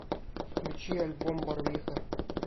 включи альбом барвиха